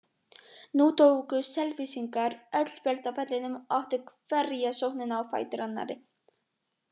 Nú tóku Selfyssingar öll völd á vellinum og áttu hverja sóknina á fætur annarri.